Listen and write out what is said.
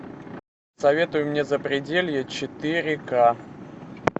посоветуй мне запределье четыре ка